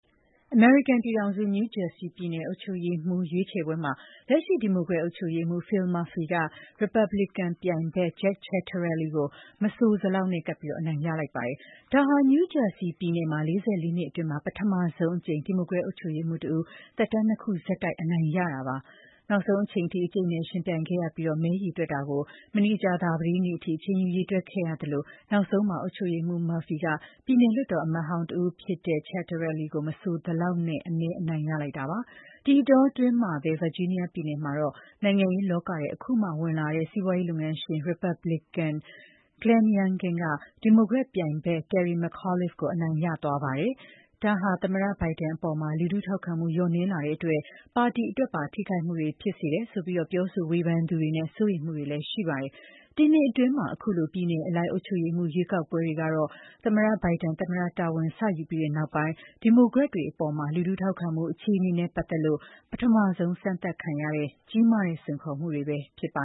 အမေရိကန်ပြည်ထောင်စု နယူးဂျာစီပြည်နယ် အုပ်ချုပ်ရေးမှူး ရွေးချယ်ပွဲမှာ လက်ရှိ ဒီမိုကရက် အုပ်ချုပ်ရေးမှူး Phil Murphy က ရီပတ်ဘလီကန်ပြိုင်ဘက် Jack Ciattarelli ကို မဲအရေအတွက် အနည်းငယ်နဲ့ ကပ်ပြီး အနိုင်ရလိုက်ပါတယ်။ ဒါဟာဖြင့် နယူးဂျာစီပြည်နယ်မှာ ၄၄ နှစ်အတွင်း ပထမဆုံးအကြိမ်အဖြစ် ဒီမိုကရက်အုပ်ချုပ်ရေးမှူးတဦး သက်တမ်းနှစ်ခုဆက်တိုက် အနိုင်ရတာပါ။ နောက်ဆုံးအချိန်အထိ အကျိတ်အနယ် ယှဉ်ပြိုင်ခဲ့ရပြီး မဲရေတွက်တာတွေကိုလည်း မနေ့က ကြာသပတေးနေ့အထိ အချိန်ယူ ရေတွက်ခဲ့ရသလို နောက်ဆုံးမှာတော့ အုပ်ချုပ်ရေးမှူး Murphy က ပြည်နယ်လွှတ်တော်အမတ်ဟောင်းတဦးဖြစ်တဲ့ Jack Ciattarelli ကို မဲအနည်းငယ်အသာနဲ့ အနိုင်ရလိုက်တာပါ။ ဒီအတောအတွင်း ဗာဂျီးနီးယားပြည်နယ်မှာတော့ နိုင်ငံရေးလောကထဲ အခုမှဝင်ရောက်လာတဲ့ စီးပွားရေးလုပ်ငန်းရှင် ရီပတ်ဘလီကန်တဦးဖြစ်တဲ့ Glenn Youngkin က ဒီမိုကရက်ပြိုင်ဘက် Terry McAuliffe ကို အနိုင်ရသွားပါတယ်။ ဒါဟာဖြင့် သမ္မတဘိုင်ဒန်အပေါ် လူထုထောက်ခံမှု လျော့နည်းလာတဲ့အတွက် ပါတီအတွက်ပါ ထိခိုက်မှုတွေ ဖြစ်လာစေတယ်ဆိုပြီး ပြောဆို ဝေဖန်သူတွေနဲ့ စိုးရိမ်မှုတွေလည်း ရှိလာပါတယ်။ ဒီနှစ်အတွင်း ခုလိုပြည်နယ်အလိုက် အုပ်ချုပ်ရေးမှူး ရွေးကောက်ပွဲတွေကတော့ သမ္မတဘိုင်ဒန် သမ္မတတာဝန် စယူပြီးနောက်ပိုင်း ဒီမိုကရက်တွေအပေါ် လူထုထောက်ခံမှု အခြေအနေနဲ့ ပတ်သက်လို့ ပထမဆုံး စမ်းသပ်ခံရတဲ့ ကြီးမားတဲ့ စိန်ခေါ်မှုတွေပဲ ဖြစ်ပ